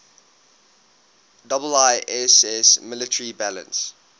iiss military balance